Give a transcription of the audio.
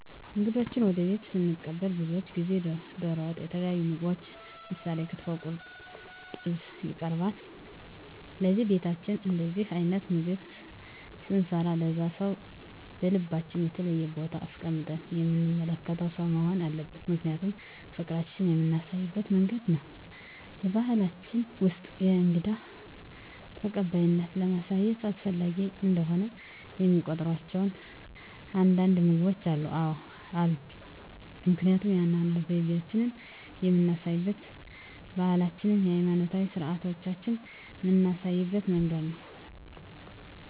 እንግዶችዎን ወደ ቤትዎ ስንቀበል ብዙውን ጊዜ ደሮ ወጥ የተለያዩ ምግቦች ምሳሌ ክትፎ ቁርጥ ጥብስ ይቀርባል ለዚህም በቤታችን እንደዚህ አይነት ምግብ ስንሰራ ለዛ ሰው በልባችን የተለየ ቦታ አስቀምጠን የምንመለከተው ሰው መሆን አለበት ምክንያቱም ፍቅራችን የምናሳይበት መንገድ ነው በባሕላችን ውስጥ የእንግዳ ተቀባይነትን ለማሳየት አስፈላጊ እንደሆነ የሚቆጥሯቸው አንዳንድ ምግቦች አሉ? አዎ አሉ ምክንያቱም የአኗኗር ዘይቤአችንን የምናሳይበት ባህላችንን ሀይማኖታዊ ስርአቶቻችንን ምናሳይበት መንገድ ነው